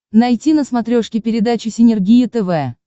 найти на смотрешке передачу синергия тв